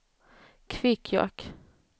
Kvikkjokk